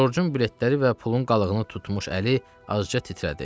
Corcun biletləri və pulun qalığını tutmuş əli azca titrədi.